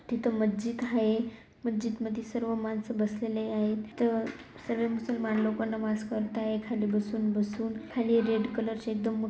तिथं मस्जिद आहे. मस्जिद मध्ये सर्व माणसं बसलेले आहेत. तिथं सर्वे मुसलमान लोकं नमाज करताय खाली बसून-बसून खाली रेड कलर ची एकदम मोठी--